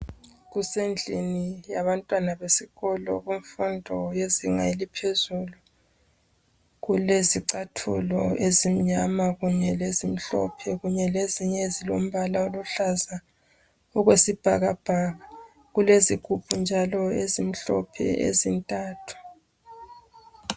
Kusendlini yabantwana besikolo, kumfundo yezinga eliphezulu. Kulezicathulo ezimnyama, kunye lezimhlophe, kunye lezinye ezilombala oluhlaza okwesibhakabhaka. Kulezigubhu njalo ezintathu.